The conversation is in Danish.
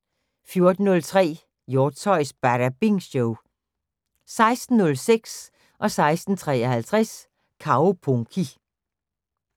14:03: Hjortshøjs Badabing Show 16:06: Kaupunki 16:53: Kaupunki